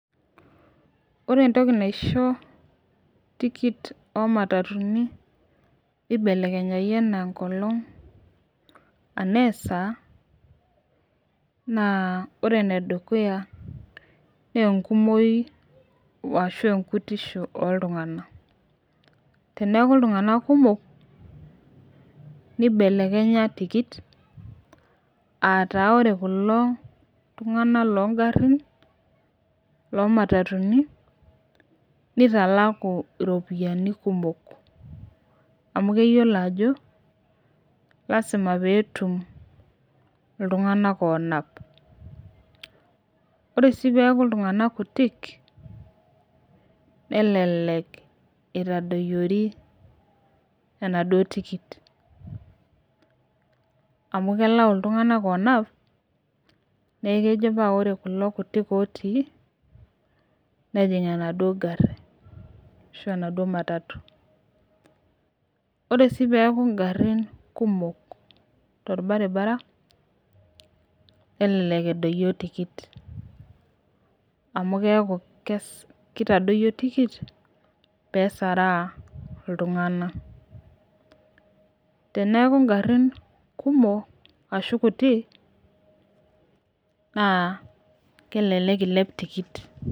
Ore entoki naisho tikit omatatuni neibelekenyai anaa enkolong anaa esaa naa ore nedukuya naa enkumoi ashu enkutisho oltungana, teneaku iltunganak kumok nkibelekenya tikit aataa ore kulo tungana loo ingarrin loo matatuni neitalaku iropiyiani kumok amu keyolo ajo lasima peetum iltunganak oonap. Ore sii peaku iltunganak kutii nelelek eitadoyiori enaduo tikit amu kelau iltunganak oonap naa kejo ore kulo kutik otii, nejing' enaduo ingarri ashu enaduo matatu. Ore sii duo ingarrin kumok te irbaribara nelelek edoiyio tikit amu keaku keitadoiyo tikit pesaraa iltungana. Teneaku ingarrin kumok ashu kutii naa kelelek eilep tikit.